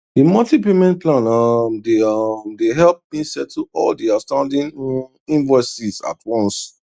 the monthly payment plan um dey um dey help me settle all the outstanding um invoices at once